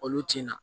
Olu tin na